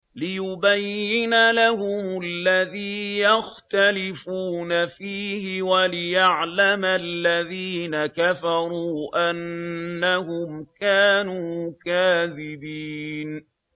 لِيُبَيِّنَ لَهُمُ الَّذِي يَخْتَلِفُونَ فِيهِ وَلِيَعْلَمَ الَّذِينَ كَفَرُوا أَنَّهُمْ كَانُوا كَاذِبِينَ